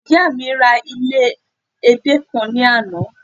ìyá mi ra ile ede kan ni Ana